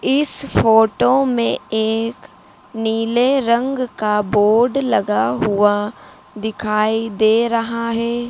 इस फोटो मे एक नीले रंग का बोर्ड लगा हुआ दिखाई दे रहा है।